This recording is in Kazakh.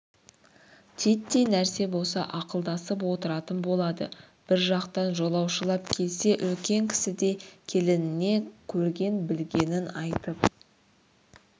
титтей нәрсе болса ақылдасып отыратын болады бір жақтан жолаушылап келсе үлкен кісідей келініне көрген-білгенін айтып